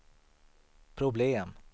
problem